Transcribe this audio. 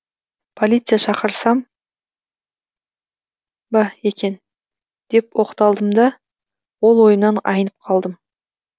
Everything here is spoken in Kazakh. полиция шақырсам ба екен деп оқталдым да ол ойымнан айнып қалдым